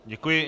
Děkuji.